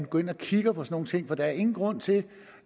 går ind og kigger på sådan nogle ting for der er ingen grund til